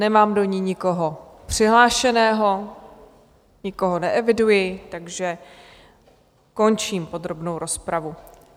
Nemám do ní nikoho přihlášeného, nikoho neeviduji, takže končím podrobnou rozpravu.